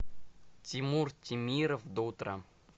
тимур темиров до утра